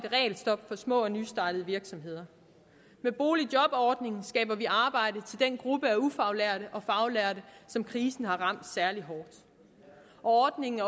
regelstop for små og nystartede virksomheder med boligjobordningen skaber vi arbejde til den gruppe af ufaglærte og faglærte som krisen har ramt særlig hårdt ordningen